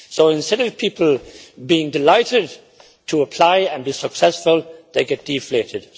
Instead of people being delighted to apply and be successful, they get deflated.